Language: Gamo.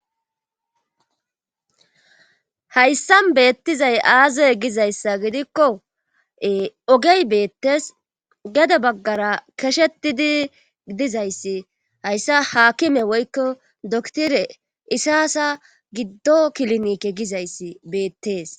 Hayssa beettizay aazey gizayssa gidikko ogey beettees gede baggara keshetidi dizayssi hayssa haakime woykko doktire isaasa giddo kilnike gizayssi beettees